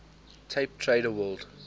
tape trader world